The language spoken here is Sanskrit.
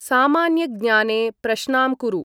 सामान्यज्ञने प्रश्नां कुरु ।